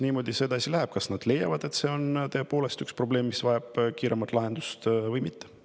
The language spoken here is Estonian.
kas nad leiavad, et see on tõepoolest probleem, mis vajab kiiret lahendust, või mitte.